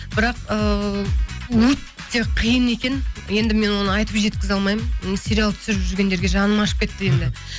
бірақ ыыы өте қиын екен енді мен оны айтып жеткізе алмаймын м сериал түсіріп жүргендерге жаным ашып кетті енді